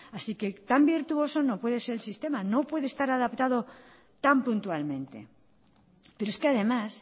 así que tan virtuoso no puede ser el sistema no puede estar adaptado tan puntualmente pero es que además